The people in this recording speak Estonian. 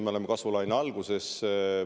Me oleme kasvulaine alguses.